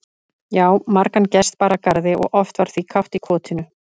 Já, margan gest bar að garði og oft var því kátt í kotinu.